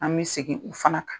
An bɛ segin o fana